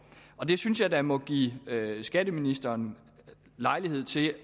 det synes jeg da må give skatteministeren lejlighed til